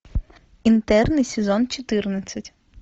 интерны сезон четырнадцать